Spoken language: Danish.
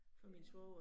Ja